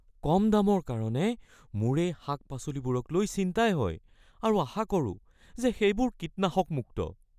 কম দামৰ কাৰণে, মোৰ এই শাক-পাচলিবোৰক লৈ চিন্তাই হয় আৰু আশা কৰোঁ যে সেইবোৰ কীটনাশক-মুক্ত।